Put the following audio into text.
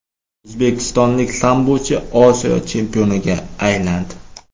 O‘zbekistonlik sambochi Osiyo chempioniga aylandi.